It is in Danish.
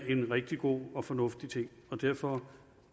en rigtig god og fornuftig ting og derfor